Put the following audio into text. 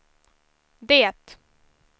det